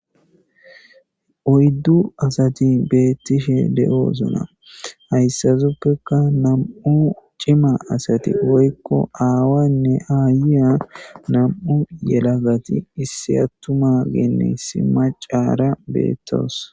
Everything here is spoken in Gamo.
Oyidu asati betishe deosoona hayisatappekka namu cima asati woyikko aawane aya yelagati issi atumaganne issi maccara betawusi